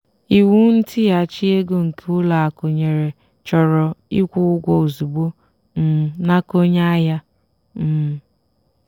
iwu ntighachi ego nke ụlọ akụ nyere chọrọ ịkwụ ụgwọ ozugbo um n'aka onye ahịa. um